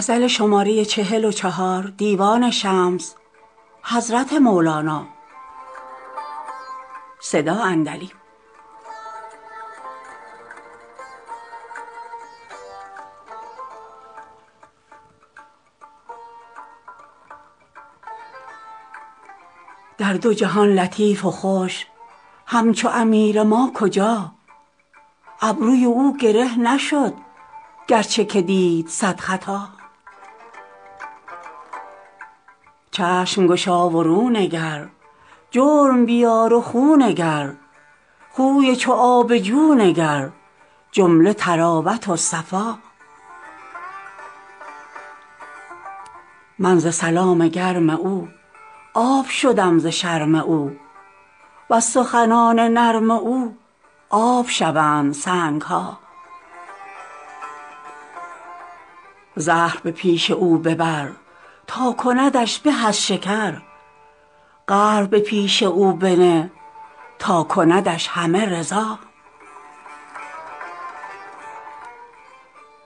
در دو جهان لطیف و خوش همچو امیر ما کجا ابروی او گره نشد گرچه که دید صد خطا چشم گشا و رو نگر جرم بیار و خو نگر خوی چو آب جو نگر جمله طراوت و صفا من ز سلام گرم او آب شدم ز شرم او وز سخنان نرم او آب شوند سنگ ها زهر به پیش او ببر تا کندش به از شکر قهر به پیش او بنه تا کندش همه رضا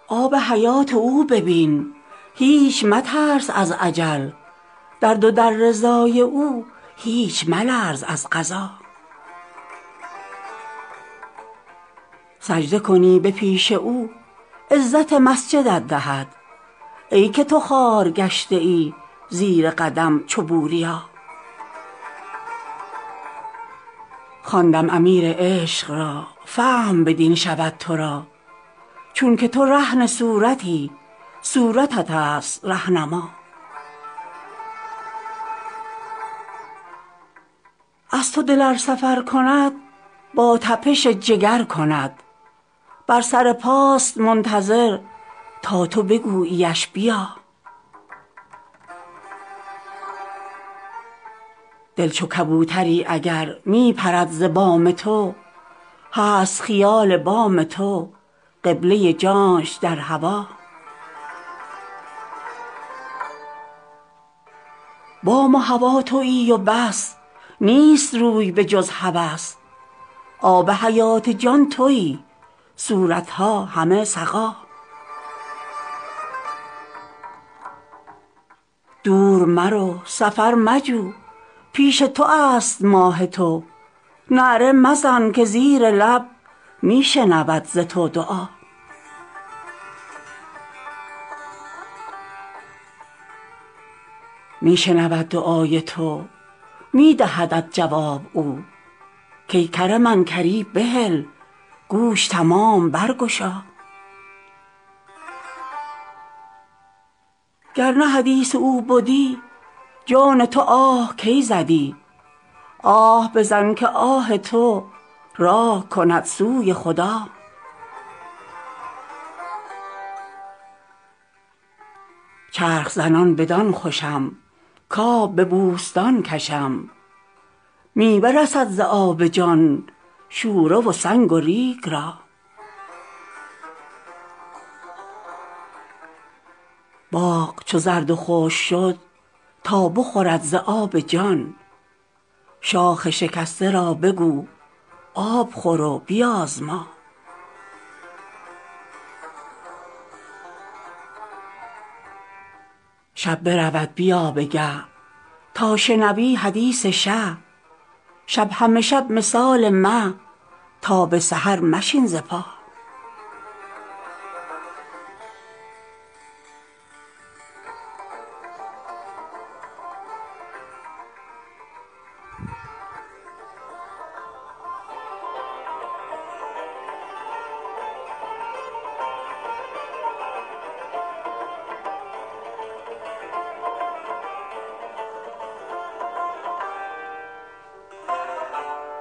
آب حیات او ببین هیچ مترس از اجل در دو در رضای او هیچ ملرز از قضا سجده کنی به پیش او عزت مسجدت دهد ای که تو خوار گشته ای زیر قدم چو بوریا خواندم امیر عشق را فهم بدین شود تو را چونک تو رهن صورتی صورت توست ره نما از تو دل ار سفر کند با تپش جگر کند بر سر پاست منتظر تا تو بگوییش بیا دل چو کبوتری اگر می بپرد ز بام تو هست خیال بام تو قبله جانش در هوا بام و هوا توی و بس نیست روی بجز هوس آب حیات جان توی صورت ها همه سقا دور مرو سفر مجو پیش تو است ماه تو نعره مزن که زیر لب می شنود ز تو دعا می شنود دعای تو می دهدت جواب او کای کر من کری بهل گوش تمام برگشا گر نه حدیث او بدی جان تو آه کی زدی آه بزن که آه تو راه کند سوی خدا چرخ زنان بدان خوشم کآب به بوستان کشم میوه رسد ز آب جان شوره و سنگ و ریگ را باغ چو زرد و خشک شد تا بخورد ز آب جان شاخ شکسته را بگو آب خور و بیازما شب برود بیا به گه تا شنوی حدیث شه شب همه شب مثال مه تا به سحر مشین ز پا